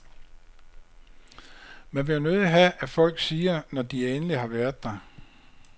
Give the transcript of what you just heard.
Man vil jo nødig have, at folk siger, når de endelig har været der.